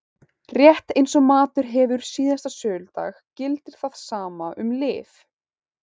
Rétt eins og matur hefur síðasta söludag gildir það sama um lyf.